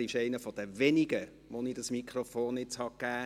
Er ist einer der wenigen, denen ich dieses Mikrofon gebe.